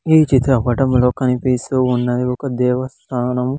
ఈ చిత్ర పటంలో కనిపిస్తూ ఉన్నది ఒక దేవస్థానం.